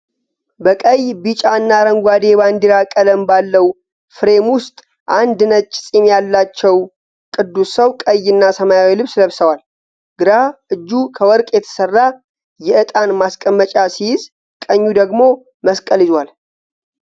በቀይ፣ ቢጫ እና አረንጓዴ የባንዲራ ቀለም ባለው ፍሬም ውስጥ አንድ ነጭ ፂም ያለው ቅዱስ ሰው ቀይ እና ሰማያዊ ልብስ ለብሷል። ግራ እጁ ከወርቅ የተሰራ የዕጣን ማስቀመጫ ሲይዝ ቀኙ ደግሞ መስቀል ይዟል።